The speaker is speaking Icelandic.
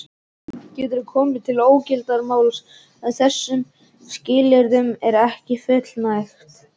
Getur komið til ógildingarmáls ef þessum skilyrðum er ekki fullnægt.